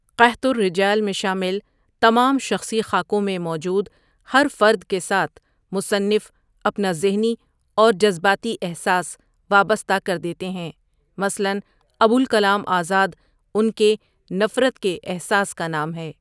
قحط الرجال میں شامل تمام شخصی خاکوں میں موجود ہر فرد کے ساتھ مصنف اپنا ذہنی اور جذباتی احساس وابستہ کر دیتے ہیں مثلاً ابولکلام آزاد اُن کے نفرت کے احساس کا نام ہے ۔